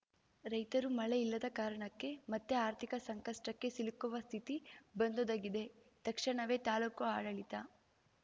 ರೈತರು ಮಳೆ ಇಲ್ಲದ ಕಾರಣಕ್ಕೆ ಮತ್ತೆ ಆರ್ಥಿಕ ಸಂಕಷ್ಟಕ್ಕೆ ಸಿಲುಕುವ ಸ್ಥಿತಿ ಬಂದೊದಗಿದೆ ತಕ್ಷಣವೇ ತಾಲೂಕು ಆಡಳಿತ